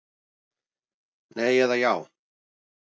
Nei eða já.